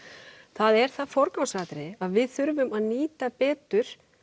það er það forgangsatriði að við þurfum að nýta betur